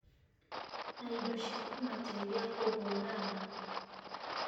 na indo cia kũmateithia kũhũrana